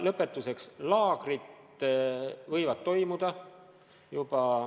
Lõpetuseks: laagrid võivad toimuda.